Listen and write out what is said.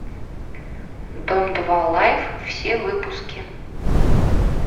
дом два лайф все выпуски